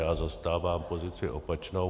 Já zastávám pozici opačnou.